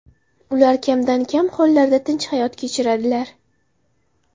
Ular kamdan-kam hollarda tinch hayot kechiradilar.